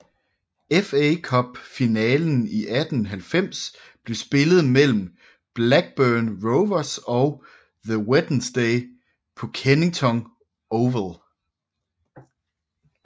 FA Cup finalen 1890 blev spillet mellem Blackburn Rovers og The Wednesday på Kennington Oval